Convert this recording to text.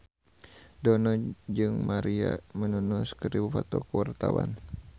Dono jeung Maria Menounos keur dipoto ku wartawan